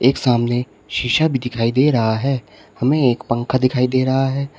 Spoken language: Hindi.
एक सामने शीशा भी दिखाई दे रहा है हमें एक पंखा दिखाई दे रहा है।